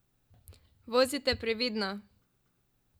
Vozite previdno!